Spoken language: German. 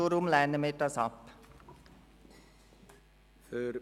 Deshalb lehnen wir den Antrag ab.